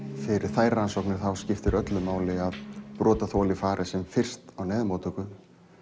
fyrir þær rannsóknir að þá skiptir öllu máli að brotaþoli fari sem fyrst á neyðarmóttöku